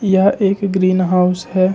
यह एक greenhouse है।